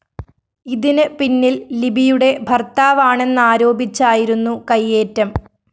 ഇതിന് പിന്നില്‍ ലിബിയുടെ ഭര്‍ത്താവാണെന്നാരോപിച്ചായിരുന്നു കയ്യേറ്റം